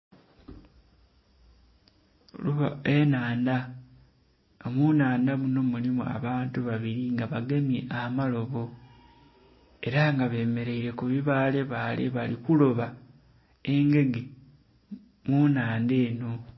Enhandha nga munnhandha muno mulimu abantu babiri nga bagemye amalobo era nga bemeraire kubi baale baale bali kuloba engege munhandha eno.